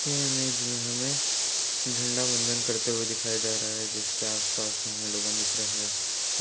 ये इमेज में हमें झंडा वंदन करते हुए दिखाया जा रहा है इसके आसपास हमें लोग दिख रहे है और--